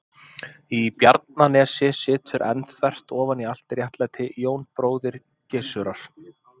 Í Bjarnanesi situr enn, þvert ofan í allt réttlæti, Jón bróðir Gizurar.